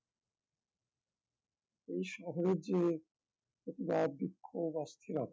এই শহরের যে প্রতিবাদ বিক্ষোভ অস্থিরতা